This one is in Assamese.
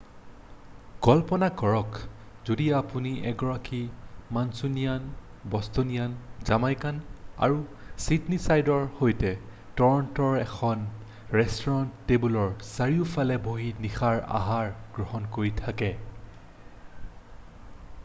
কল্পনা কৰক যদি আপুনি এগৰাকী মাঞ্চুনিয়ান বষ্টনিয়ান জামাইকান আৰু ছিডনীছাইডাৰৰ সৈতে টৰণ্ট'ৰ এখন ৰেষ্টুৰাঁৰ টেবুলৰ চাৰিওফালে বহি নিশাৰ আহাৰ গ্ৰহণ কৰি থাকে